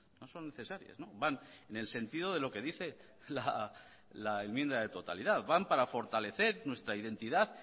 no son necesarias van en el sentido de lo que dice la enmienda de totalidad van para fortalecer nuestra identidad